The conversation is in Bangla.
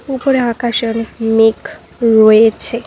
উপরে আকাশে অনেক মেঘ রয়েছে।